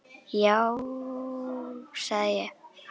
Já sagði ég.